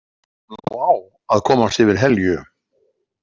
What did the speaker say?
Honum lá á að komast yfir Helju.